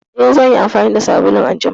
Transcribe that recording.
Eh, zan yi amfani da sabulun a jima.